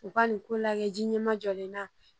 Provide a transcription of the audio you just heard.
U ka nin ko lajɛ ji ɲɛma jɔlen na